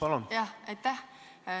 Aitäh!